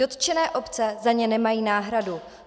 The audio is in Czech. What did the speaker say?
Dotčené obce za ně nemají náhradu.